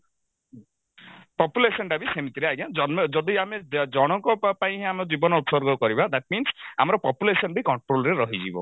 population ଟା ବି ସେମିତିରେ ଆଜ୍ଞା ଜନ ଯଦି ଆମେ ଜଣଙ୍କ ପା ପାଇଁ ଆମ ଜୀବନ ଉତ୍ସର୍ଗ କରିବା that means ଆମର population ବି control ରେ ରହିଯିବ